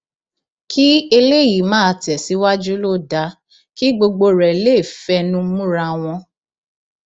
kí eléyìí máa tẹsíwájú ló dáa kí gbogbo rẹ lè fẹnu múra wọn